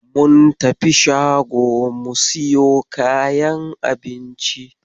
Mun tafi shago mu siyo kayan abinci.